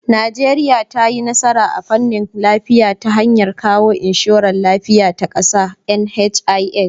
Najeriya ta yi nasara a fannin lafiya ta hanyar kawo inshorar lafiya ta kasa (NHIS).